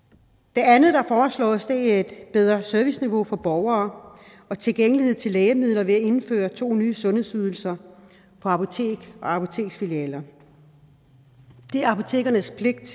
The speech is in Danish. det andet der foreslås er et bedre serviceniveau for borgere og tilgængelighed til lægemidler ved at indføre to nye sundhedsydelser på apoteker og apoteksfilialer det er apotekernes pligt